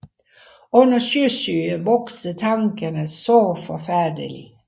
Under Sjøsyge vokser Tankerne saa forfærdelig